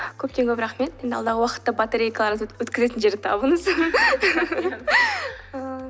көптен көп рахмет енді алдағы уақытта батарейкаларыңызды өткізетін жерді табыңыз